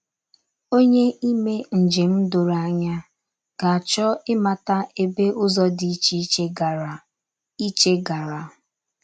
Onye ime njem doro anya, ga - achọ ịmata ebe ụzọ dị iche iche gara. iche gara.